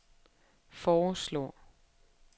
foreslår